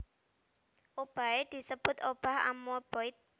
Obahé disebut obah amoeboid